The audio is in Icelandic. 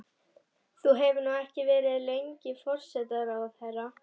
Þú hefur nú ekki verið lengi forsætisráðherra?